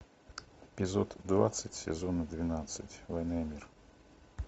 эпизод двадцать сезона двенадцать война и мир